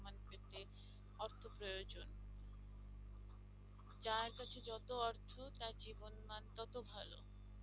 অর্থ প্রয়োজন যার কাছে যত অর্থ তার জীবন মান তত ভালো